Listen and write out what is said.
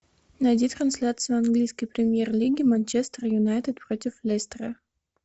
найди трансляцию английской премьер лиги манчестер юнайтед против лестера